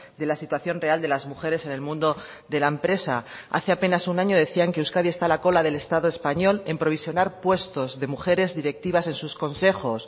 de la situación real de las mujeres en el mundo de la empresa hace apenas un año decían que euskadi está a la cola del estado español en provisionar puestos de mujeres directivas en sus consejos